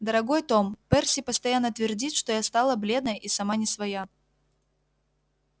дорогой том перси постоянно твердит что я стала бледная и сама не своя